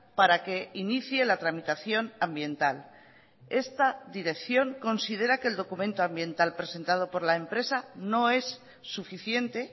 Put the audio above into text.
para que inicie la tramitación ambiental esta dirección considera que el documento ambiental presentado por la empresa no es suficiente